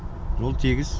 жол тегіс